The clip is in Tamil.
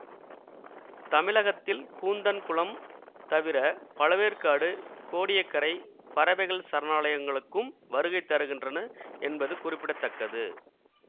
தமிழகத்தில் கூந்தன் குளம் தவிர பழவேற்காடு கோடிய கரை பறவைகள் சரணாலயங்களுக்கும் வருகை தருகின்றன என்பது குறிப்பிட தக்கது